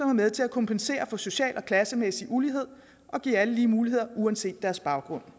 med til at kompensere for social og klassemæssig ulighed og give alle lige muligheder uanset deres baggrund